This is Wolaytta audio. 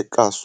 eqaasu.